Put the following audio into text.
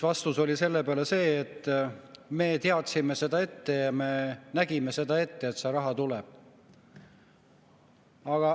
Vastus oli selle peale see, et me teadsime seda ette ja me nägime ette, et see raha tuleb.